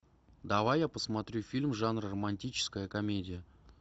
давай я посмотрю фильм жанра романтическая комедия